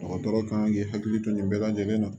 Dɔgɔtɔrɔ kan k'i hakili to nin bɛɛ lajɛlen na